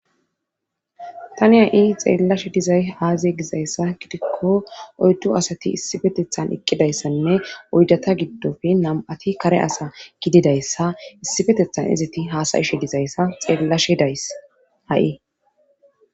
tani ha7i xeellashe dizay aaziye gizayssa gidikko oyduasati issifetethan eqqidayssanne oydata giddofe nam7ati kare asa gididayssa issi fetethan izati haasayishe dizayssa xeellashe days ha7i